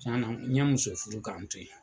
Tiɲɛ na n ye muso furu k'an to ye.